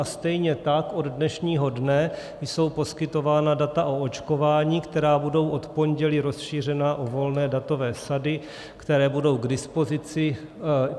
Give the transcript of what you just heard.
A stejně tak od dnešního dne jsou poskytována data o očkování, která budou od pondělí rozšířena o volné datové sady, které budou k dispozici.